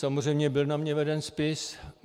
Samozřejmě byl na mne veden spis.